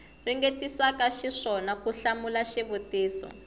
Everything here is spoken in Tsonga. ringetisaka xiswona ku hlamula xivutiso